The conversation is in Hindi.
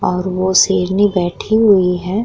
और वो शेरनी बैठी हुई है।